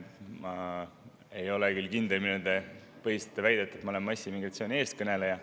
Ma ei ole küll kindel, millega te põhistate väidet, et ma olen massiimmigratsiooni eestkõneleja.